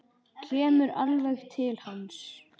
Kemur alveg til hans.